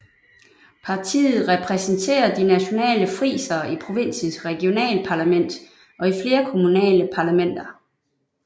Partiet repræsenterer de nationale frisere i provinsens regionalparlament og i flere kommunale parlamenter